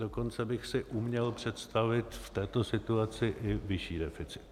Dokonce bych si uměl představit v této situaci i vyšší deficit.